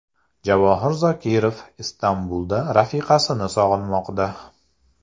Javohir Zokirov Istanbulda rafiqasini sog‘inmoqda.